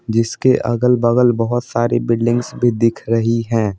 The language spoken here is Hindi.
जिसके अगल बगल बहुत सारी बिल्डिंग्स भी दिख रही हैं।